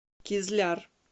кизляр